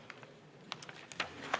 16.